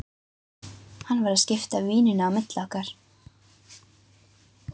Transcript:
Hann var að skipta víninu á milli okkar!